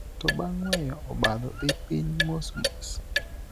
To bang' weyo, obadho dhi piny mosmos.